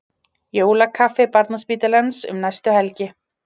Jólakaffi Barnaspítalans um næstu helgi